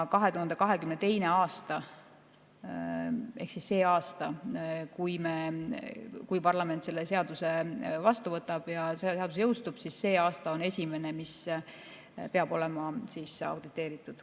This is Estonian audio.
2022. aasta ehk siis see aasta, juhul kui parlament selle seaduse vastu võtab ja seadus jõustub, on esimene, mille peavad olema auditeeritud.